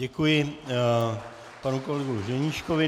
Děkuji panu kolegu Ženíškovi.